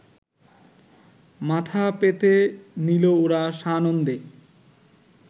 মাথা পেতে নিল ওরা সানন্দে